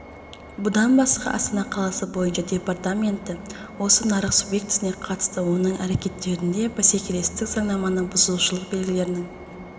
бұдан басқа астана қаласы бойынша департаменті осы нарық субъектісіне қатысты оның әрекеттерінде бәсекелестік заңнаманы бұзушылық белгілерінің